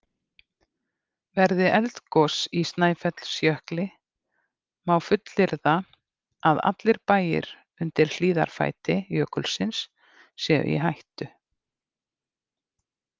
Verði eldgos í Snæfellsjökli má fullyrða að allir bæir undir hlíðarfæti jökulsins séu í hættu.